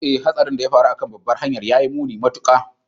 Ee, Hatsarin da ya faru a kan babbar hanyar ya yi muni matuƙa